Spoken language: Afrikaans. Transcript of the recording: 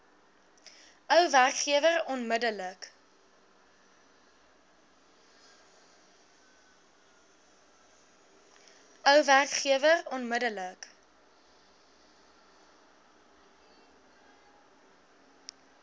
ou werkgewer onmiddellik